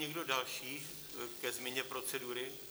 Někdo další ke změně procedury?